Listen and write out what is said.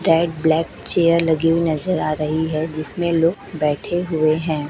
Tag black chair लगी हुई नजर आ रहीं हैं जिसमें लोग बैठे हुए हैं।